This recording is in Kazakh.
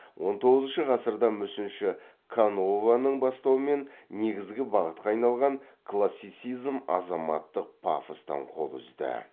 он тоғызыншы ғасырда мүсінші канованың бастауымен негізгі бағытқа айналған классицизм азаматтық пафостан қол үзді